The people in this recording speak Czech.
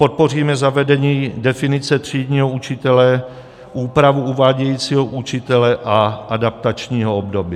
Podpoříme zavedení definice třídního učitele, úpravu uvádějícího učitele a adaptačního období.